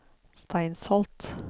Steinsholt